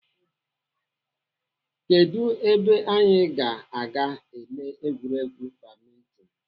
Kedụ ebe anyị ga-aga ele egwuregwu badminton?